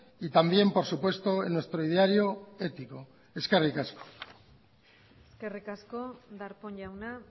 y también por supuesto en nuestro ideario ético eskerrik asko eskerrik asko darpón jauna